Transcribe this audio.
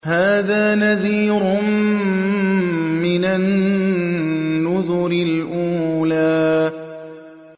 هَٰذَا نَذِيرٌ مِّنَ النُّذُرِ الْأُولَىٰ